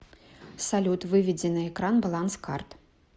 салют выведи на экран баланс карт